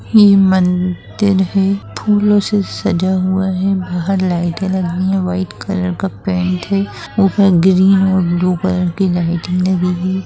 यह मंदिर है फूलों से सजा हुआ है बाहर लाइटे लगी है व्हाइट कलर का पेंट है ऊपर ग्रीन और ब्लू कलर की लाइटिंग लगी हुई--